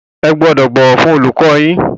Ẹ gbọ́dọ̀ bọ̀wọ̀ fún olùkọ́ yín.